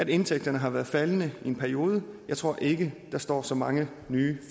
indtægterne har været faldende i en periode jeg tror ikke der står så mange nye